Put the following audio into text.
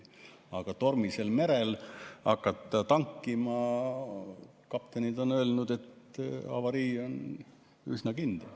Aga kui tormisel merel hakata tankima – kaptenid on öelnud, et avarii on üsna kindel.